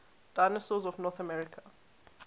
dinosaurs of north america